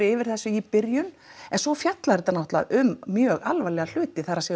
yfir þessu í byrjun en svo fjallar þetta um mjög alvarlega hluti það er